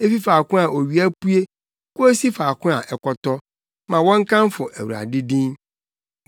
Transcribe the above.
Efi faako a owia pue kosi faako a ɛkɔtɔ, ma wɔnkamfo Awurade din.